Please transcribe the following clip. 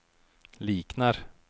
liknar